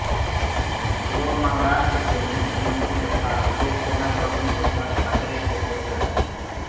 वो महाराष्ट्र के मुख्यमंत्री तथा शिवसेना प्रमुख उद्धव ठाकरे के पुत्र हैं